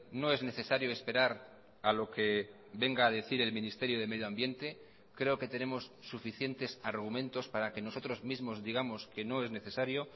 no es necesario esperar a lo que venga a decir el ministerio de medio ambiente creo que tenemos suficientes argumentos para que nosotros mismos digamos que no es necesario